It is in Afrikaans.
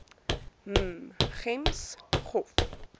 m gems gov